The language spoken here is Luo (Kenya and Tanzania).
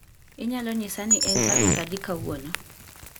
Inyalo nyisa ni en tarik adi kawuono